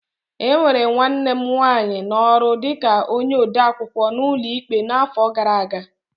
E were nwanne m nwanyị n'ọrụ dị ka onye odeakwụkwọ n'ụlọ ikpe n'afọ gara aga.